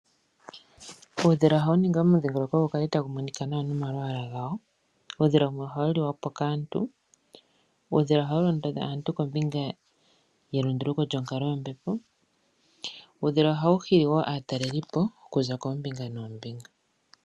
Uudhila ohawu ningi omudhigoloko gu kale tagu monika nawa nomalwala gawo, uudhila wumwe ohawu liwapo kaantu wumwe ohawu londodha aantu kombinga yelunduluko lyombepo , Uudhila ohawu hili wo aatalelipo okuza kombinga nombinga.